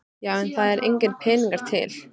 Já en það eru engir peningar til.